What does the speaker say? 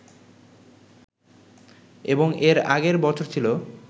এবং এর আগের বছর ছিল